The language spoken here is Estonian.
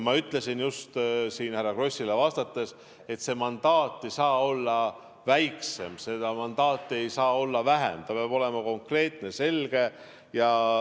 Ma ütlesin siin just härra Krossile vastates, et see mandaat ei saa olla väiksem, seda mandaati ei saa olla vähem, ta peab olema konkreetne, selge.